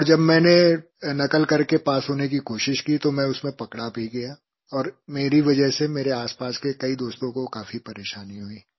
और जब मैंने नक़ल करके पास होने की कोशिश की तो मैं उसमें पकड़ा भी गया और मेरी वजह से मेरे आसपास के कई दोस्तों को काफ़ी परेशानी हुई